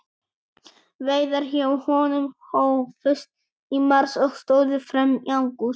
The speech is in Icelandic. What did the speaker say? Veiðar hjá honum hófust í mars og stóðu fram í ágúst.